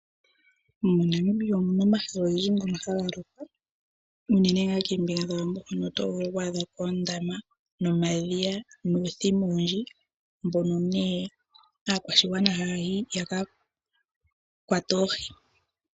Monamibia omuna omahala ogendji haga lokwa unene ngaa koombinga dhawambo oto vulu okwaadha ko oondama, omadhiya nuuthima owundji mbono nee aakwashigwana haya yi ya kakwate oohi.